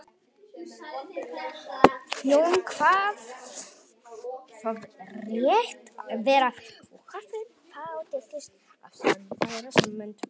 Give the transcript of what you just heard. Jón kvað það rétt vera og hafði þá tekist að sannfæra Sæmund.